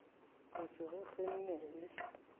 re se re kgenne e